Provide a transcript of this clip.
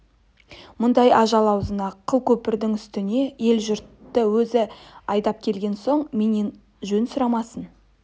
мынадай ажал аузына қыл көпірдің үстіне ел-жұртты өзі айдап келген соң менен жөн сұрамасын